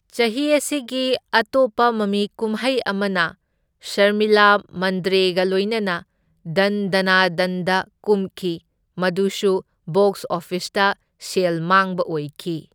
ꯆꯍꯤ ꯑꯁꯤꯒꯤ ꯑꯇꯣꯞꯄ ꯃꯃꯤꯀꯨꯝꯍꯩ ꯑꯃꯅ ꯁꯔꯃꯤꯂꯥ ꯃꯟꯗ꯭ꯔꯦꯒ ꯂꯣꯢꯅꯅ ꯙꯟ ꯙꯥꯅꯥ ꯙꯟꯗ ꯀꯨꯝꯈꯤ, ꯃꯗꯨꯁꯨ ꯕꯣꯛꯁ ꯑꯣꯐꯤꯁꯇ ꯁꯦꯜ ꯃꯥꯡꯕ ꯑꯣꯢꯈꯤ꯫